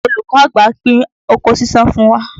Olùkọ́ àgbà pín oko ṣíṣán fún wa